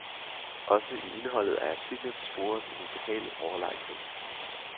Også i indholdet af artiklen sporedes en ubehagelig overlegenhed.